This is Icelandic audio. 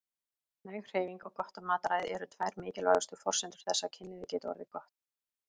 Næg hreyfing og gott mataræði eru tvær mikilvægustu forsendur þess að kynlífið geti orðið gott.